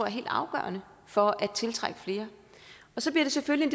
helt afgørende for at tiltrække flere så bliver det selvfølgelig